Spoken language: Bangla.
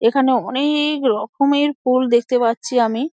এখানে অ-নে-ক রকমের ফুল দেখতে পারছি আমি |